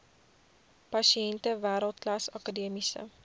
pasiënte wêreldklas akademiese